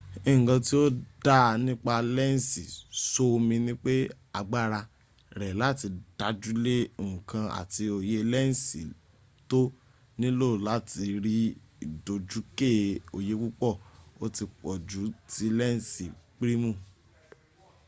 nkan tí ò dáa nipa lensì soomì nipé agbára rẹ láti dájúle nkan àti oye lensì tó nilò láti rí ìdójúké oyé púpọ̀ o ti pọ̀jù tí lensì primu